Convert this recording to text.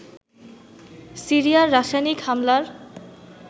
সিরিয়ার রাসায়নিক হামলার